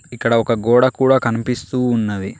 ఇక్కడ ఒక గోడ కూడా కనిపిస్తూ ఉన్నది.